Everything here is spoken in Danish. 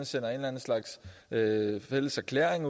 sender en slags fælles erklæring